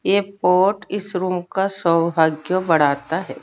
ये पॉट इस रूम का सौभाग्य बढ़ता है।